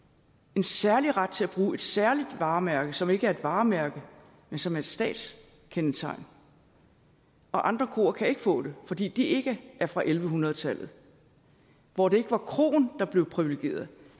en særlig ret til at bruge et særligt varemærke som ikke er et varemærke men som er et statskendetegn og andre kroer kan ikke få det fordi de ikke er fra elleve hundrede tallet hvor det ikke var kroen der blev privilegeret